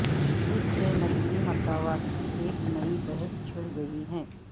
اس سے نسلی مساوات کی ایک نئی بحث چھڑ گئی ہے